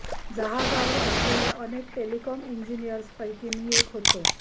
जहाजावर असलेल्या अनेक टेलीकॉम इंजिनियर्स पैकी मी एक होतो